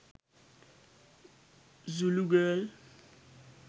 zulu girl